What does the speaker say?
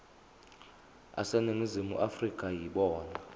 aseningizimu afrika yibona